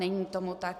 Není tomu tak.